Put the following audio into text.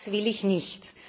Das will ich nicht!